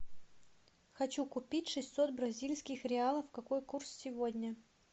хочу купить шестьсот бразильских реалов какой курс сегодня